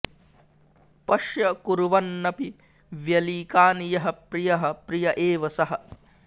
पश्य कुर्वन्नपि व्यलीकानि यः प्रियः प्रिय एव सः